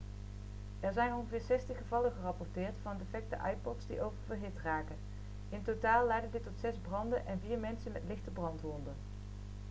er zijn ongeveer 60 gevallen gerapporteerd van defecte ipods die oververhit raken in totaal leidde dit tot zes branden en vier mensen met lichte brandwonden